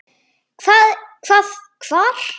Hvað. hvað. hvar.